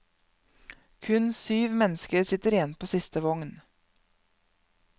Kun syv mennesker sitter igjen på siste vogn.